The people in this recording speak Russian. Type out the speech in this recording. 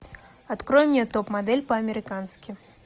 открой мне топ модель по американски